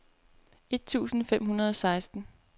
et tusind fem hundrede og seksten